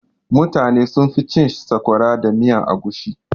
Mutane sunfi cin sakwara da miyan agushi.